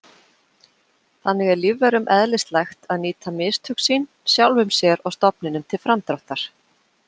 Þannig er lífverum eðlislægt að nýta mistök sín sjálfum sér og stofninum til framdráttar.